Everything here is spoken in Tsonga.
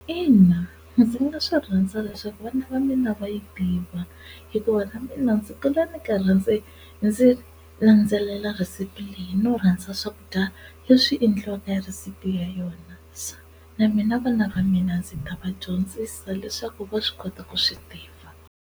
Ina ndzi nga swi rhandza leswaku vana va mina va yi tiva hikuva na mina ndzi kula ni karhi ndzi ndzi landzelela receipt leyi no rhandza swakudya leswi endliwaka hi rhisipi ya yona, na mina vana va mina ndzi ta va dyondzisa leswaku va swi kota ku swi tiva.